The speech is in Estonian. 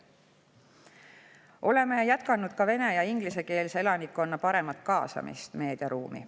Oleme jätkanud vene‑ ja ingliskeelse elanikkonna paremat kaasamist meediaruumi.